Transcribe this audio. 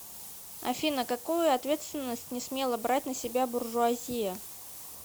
афина какую ответственность не смела брать на себя буржуазия